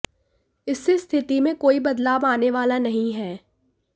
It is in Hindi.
इससे स्थिति में कोई बदलाव आने वाला नहीं है